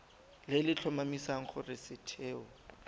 le le tlhomamisang gore setheo